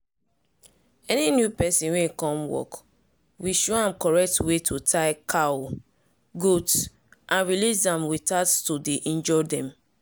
any new person wey come work we show am correct way to tie cow/goat and release am without to dey injure dem.